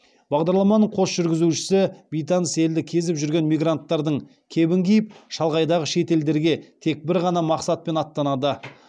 бағдарламаның қос жүргізушісі бейтаныс елді кезіп жүрген мигранттардың кебін киіп шалғайдағы шет елдерге тек бір ғана мақсатпен аттанады